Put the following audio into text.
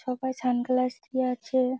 চোখে সানগ্লাস দিয়ে আছে--